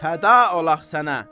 Fəda olaq sənə.